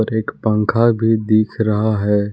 एक पंखा भी दिख रहा है।